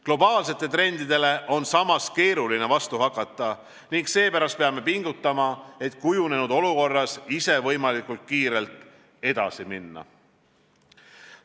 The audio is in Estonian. Globaalsetele trendidele on samas keeruline vastu hakata ning seepärast peame pingutama, et kujunenud olukorras ise võimalikult kiirelt edasi minna.